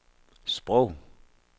sprog